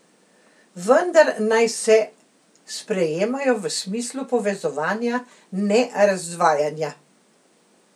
Vendar naj se sprejemajo v smislu povezovanja, ne razdvajanja.